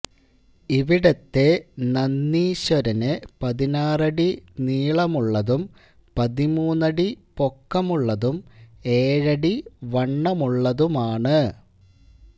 ഇവിടത്തെ നന്ദീശ്വരന് പതിനാറടി നീളമുള്ളതും പതിമൂന്നടി പൊക്കമുള്ളതും ഏഴടി വണ്ണമുള്ളതുമാണ്